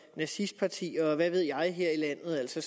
nazistpartier og hvad ved jeg her i landet så